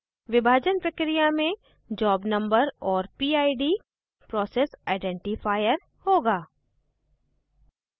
विभाजन प्रक्रिया में job number और pid process identifier होगा